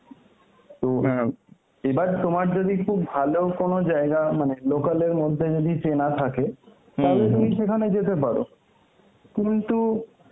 তো অ্যাঁ এবার তোমার যদি খুব ভালো কোন জায়গা মানে local এর মধ্যে যদি চেনা থাকে তাহলে তুমি সেখানে যেতে পারো. কিন্তু